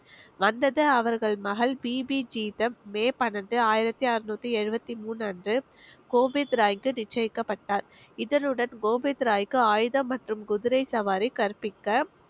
வந்தது அவர்கள் மகள் பிபி ஜீதம் மே பன்னெண்டு ஆயிரத்தி அறுநூத்தி எழுவத்தி மூணு அன்று கோபிந்த் ராய்க்கு நிச்சயக்கப்பட்டார் இதனுடன் கோபிந்த் ராய்க்கு ஆயுதம் மற்றும் குதிரை சவாரி கற்பிக்க